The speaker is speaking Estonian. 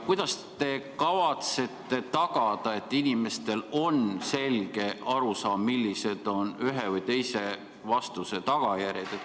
Kuidas te kavatsete tagada, et inimestel on selge arusaam, millised on ühe või teise vastuse tagajärjed?